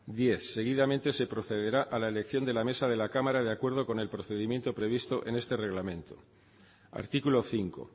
diez seguidamente se procederá a la elección de la mesa de la cámara de acuerdo con el procedimiento previsto en este reglamento artículo cinco